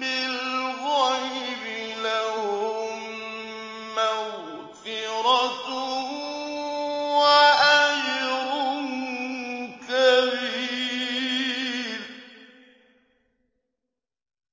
بِالْغَيْبِ لَهُم مَّغْفِرَةٌ وَأَجْرٌ كَبِيرٌ